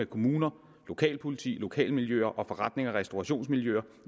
kommuner lokalpoliti lokalmiljøer og forretnings og restaurationsmiljøer